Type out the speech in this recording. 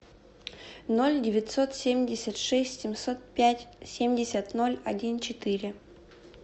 ноль девятьсот семьдесят шесть семьсот пять семьдесят ноль один четыре